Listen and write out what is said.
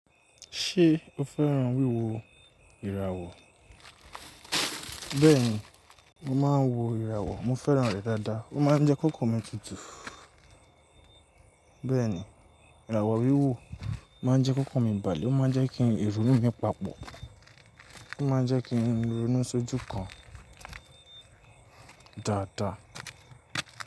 Ṣé o fẹ́ràn wíwo ìràwọ̀? Bẹ́ẹ̀ni, mo máa ń wo ìràwọ̀. Mo fẹ́ràn rẹ̀ dáadáa. Ó máa ń jẹ́ kọkan mi tutù. Bẹ́ẹ̀ni, ìràwọ̀ wíwò máa ń jẹ́ kọkan mi bàlẹ. Ó má ń jẹ́ kí ìrònú mi papọ̀. Ó má ń jẹ́ kí n ronú sójú kan dáadáa.